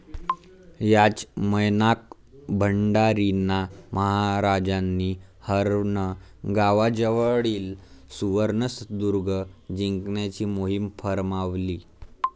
याच मयनाक भंडारींना महाराजांनी हर्णे गावाजवळील सुवर्णदुर्ग जिंकण्याची मोहिम फर्मावली.